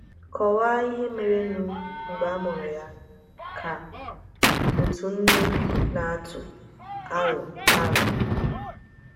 “ Kọwaa ihe merenụ mgbe a mụrụ ya, ” ka otu nne na - atụ arọ arọ